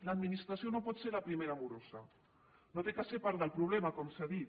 l’administració no pot ser la primera morosa no ha de ser part del problema com s’ha dit